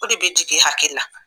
O de bɛ jigin e hakili la